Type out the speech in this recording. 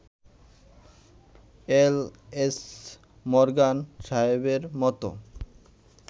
এল. H. Morgan সাহেবের মতো